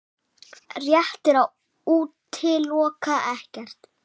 Rétt er að útiloka ekkert